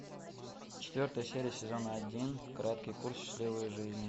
четвертая серия сезона один краткий курс счастливой жизни